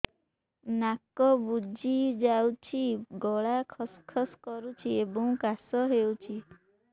ନାକ ବୁଜି ଯାଉଛି ଗଳା ଖସ ଖସ କରୁଛି ଏବଂ କାଶ ହେଉଛି